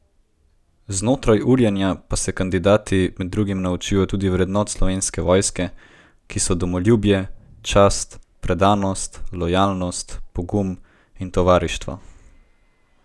Znotraj urjenja pa se kandidati med drugim naučijo tudi vrednot Slovenske vojske, ki so domoljubje, čast, predanost, lojalnost, pogum in tovarištvo.